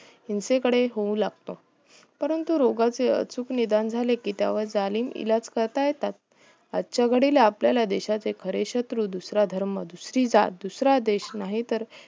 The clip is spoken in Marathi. हिसें कडून होऊ लागतो परंतु रोगाचे अचुक निधान झाले कि त्या वर जालिम इलाज करता येतात आजच्या घडीला आपल्या देशाच्या बरेच शत्रू दुसरा धर्म दुसरी जात दुसरा देश हिंसेकडे होऊ लागतो